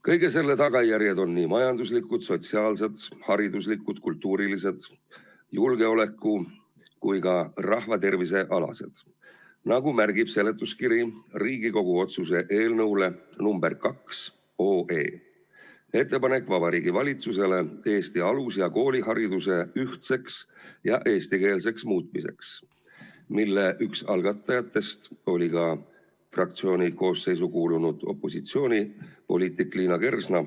Kõige selle tagajärjed on nii majanduslikud, sotsiaalsed, hariduslikud, kultuurilised, julgeoleku‑ kui ka rahvatervisealased, nagu märgib seletuskiri Riigikogu otsuse eelnõu nr 2 "Ettepanek Vabariigi Valitsusele Eesti alus- ja koolihariduse ühtseks ja eestikeelseks muutmiseks" kohta, mille üks algatajatest oli ka fraktsiooni koosseisu kuulunud opositsioonipoliitik Liina Kersna.